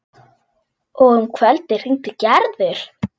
Og um kvöldið hringdi Gerður.